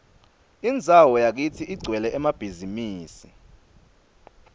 indzawo yakitsi igcwele emabhizimisi